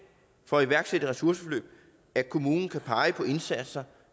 for at iværksætte et ressourceforløb at kommunen kan pege på indsatser